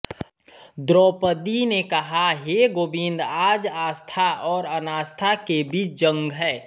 द्रौपदी ने कहा हे गोविंद आज आस्था और अनास्था के बीच जंग है